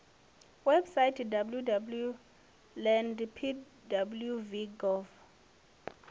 webusaithi www land pwv gov